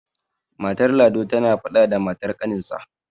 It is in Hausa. matar lado tana faɗa da matar ƙaninsa